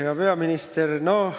Hea peaminister!